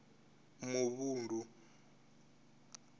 muvhundu